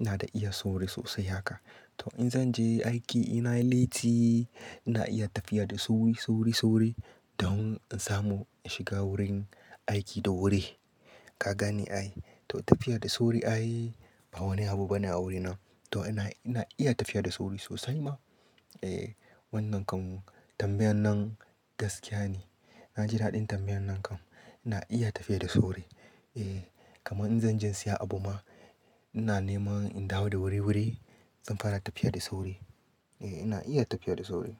Ina da iya sauri sosai haka. To in zan je aiki ina yi letti, ina iya tafiya da sauri, sauri, sauri don in samu in shiga wurin aiki da wuri. Ka gane ai, to tafiya da sauri ai ba wani abu bane a wurina. To ina iya tafiya da sauri sosai ma. Eh wannan kan tambayan nan gaskiya ne. Na ji daɗin tambayan nan kam. Ina iya tafiya da sauri. Eh kaman in zan je siya abu ma, ina nema in dawo da wuri-wuri zan fara tafiya da sauri. Eh ina iya tafiya da sauri.